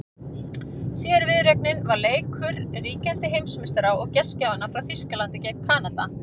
Síðari viðureignin var leikur ríkjandi heimsmeistara og gestgjafanna frá Þýskalandi gegn Kanada.